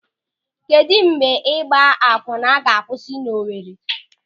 Kedụ mgbe ịgba akwụnna ga-akwụsị n'Owere?